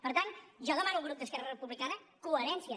per tant jo demano al grup d’esquerra republicana coherència